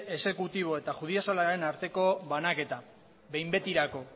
exekutibo eta judizialaren arteko banaketa behin betirako